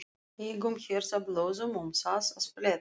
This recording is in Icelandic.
Engum herðablöðum um það að fletta!